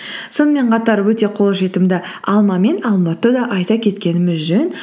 сонымен қатар өте қолжетімді алма мен алмұртты да айта кеткеніміз жөн